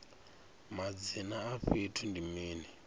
madzina a fhethu ndi mini